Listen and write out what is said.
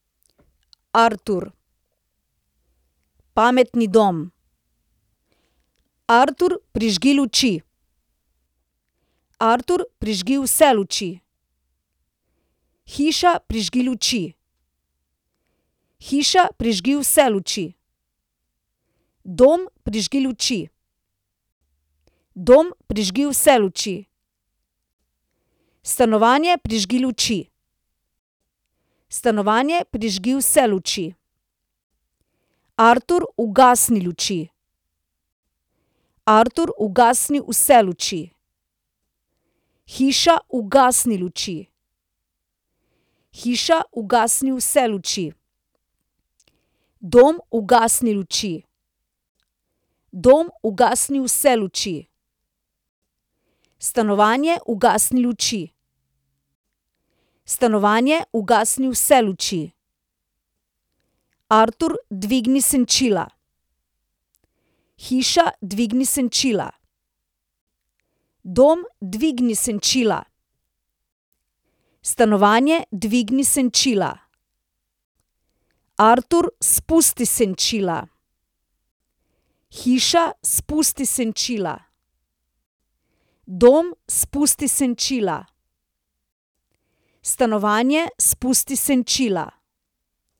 Artur. Pametni dom. Artur, prižgi luči. Artur, prižgi vse luči. Hiša, prižgi luči. Hiša, prižgi vse luči. Dom, prižgi luči. Dom, prižgi vse luči. Stanovanje, prižgi luči. Stanovanje, prižgi vse luči. Artur, ugasni luči. Artur, ugasni vse luči. Hiša, ugasni luči. Hiša, ugasni vse luči. Dom, ugasni luči. Dom, ugasni vse luči. Stanovanje, ugasni luči. Stanovanje, ugasni vse luči. Artur, dvigni senčila. Hiša, dvigni senčila. Dom, dvigni senčila. Stanovanje, dvigni senčila. Artur, spusti senčila. Hiša, spusti senčila. Dom, spusti senčila. Stanovanje, spusti senčila.